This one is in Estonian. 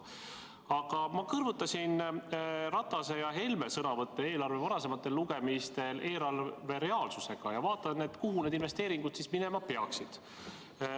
Aga ma kõrvutasin Ratase ja Helme sõnavõtte eelarve varasematel lugemistel eelarve reaalsusega ja vaatasin, kuhu need investeeringud minema peaksid.